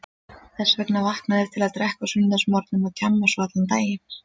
Þess vegna vakna þeir til að drekka á sunnudagsmorgnum og djamma svo allan daginn.